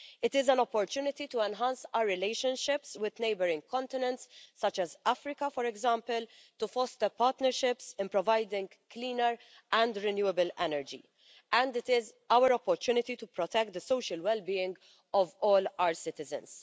It is an opportunity to enhance our relationships with neighbouring continents such as Africa, for example, to foster partnerships and provide cleaner and renewable energy. And it is our opportunity to protect the social well being of all our citizens.